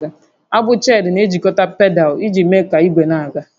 Agbụ Cheenu na-ejikọta pedal iji mee ka ígwé na-aga